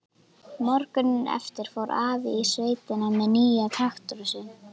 Morguninn eftir fór afi í sveitina með nýja traktorinn sinn.